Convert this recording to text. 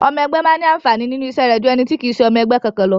Ọmọ ẹgbé máa ní àǹfàní nínú iṣẹ́ rẹ̀ jú ẹni tí kì í ṣe ọmọ ẹgbẹ́ kankan lọ.